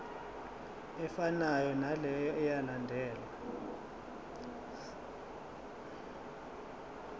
efanayo naleyo eyalandelwa